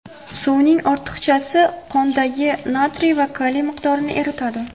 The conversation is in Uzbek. Suvning ortiqchasi qondagi natriy va kaliy miqdorini eritadi.